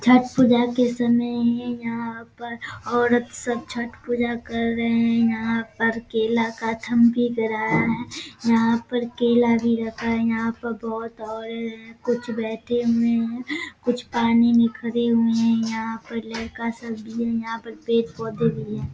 छठ पूजा के समय है यहां पर औरत सब छठ पूजा कर रहे हैं यहां पर केला का थम भी गड़ाया है यहां पर केला भी रखा है यहां पर कुछ बैठे हुए हैं कुछ पानी में खड़े हुए हैं यहाँ पर लड़का सब भी यहाँ पर पेड़-पौधे भी है ।